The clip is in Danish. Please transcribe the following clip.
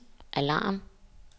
alarm